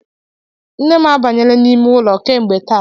Nne m abanyela n'ime ụlọ m kemgbe taa